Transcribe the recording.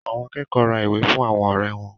Àwọn akẹ́kọ̀ọ́ ra ìwé fún àwọn ọ̀rẹ́ wọn.